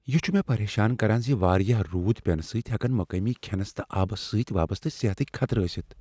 یہِ چھٗ مےٚ پریشان کران ز واریاہ روُد پینہٕ سٕتۍ ہیكن مقٲمی کھینس تہٕ آبس سٕتۍ وابسطہٕ صحتکۍ خطرٕ ٲستھ ۔